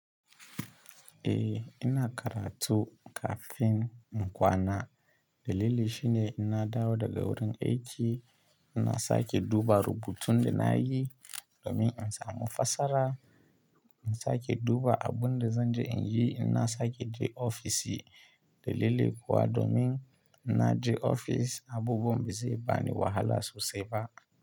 Eh ina karatu kafin in kwana. Dalili shine ina dawo daga wurin aiki, ina sake duba rubutun da na yi domin in samu fasara. Ina sake duba abun da zan je in yi, ina sake je ofis. Dalili kuwa domin ina je ofis, abubuwan ba zai bani wahala sosai ba.